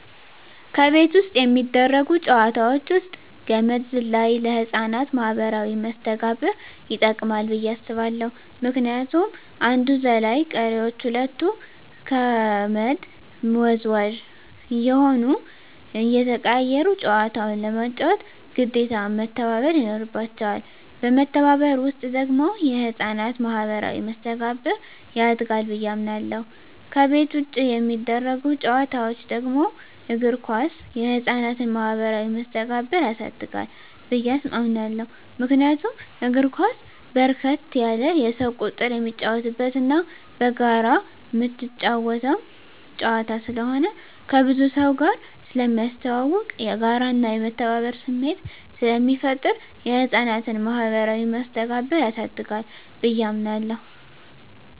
ከቤት ውስጥ የሚደረጉ ጨዋታወች ውስጥ ገመድ ዝላይ ለህፃናት ማኀበራዊ መስተጋብር ይጠቅማ ብየ አስባለሁ ምክንያቱም አንዱ ዘላይ ቀሪወች ሁለቱ ከመድ ወዝዋዥ እየሆኑና እየተቀያየሩ ጨዋታውን ለመጫወት ግዴታ መተባበር ይኖርባቸዋል በመተባበር ውስጥ ደግሞ የህፃናት ማኋበራዊ መስተጋብር ያድጋል ብየ አምናለሁ። ከቤት ውጭ የሚደረጉ ጨዋታወች ደግሞ እግር ኳስ የህፃናትን ማህበራዊ መስተጋብር ያሳድጋል ብየ አምናለሁ። ምክንያቱም እግር ኳስ በርከት ያለ የሰው ቁጥር የሚጫወትበትና በጋራ ምትጫወተው ጨዋታ ስለሆነ ከብዙ ሰውጋር ስለሚያስተዋውቅ፣ የጋራና የመተባበር ስሜት ስለሚፈጥር የህፃናትን ማኀበራዊ መስተጋብር ያሳድጋል ብየ አምናለሁ።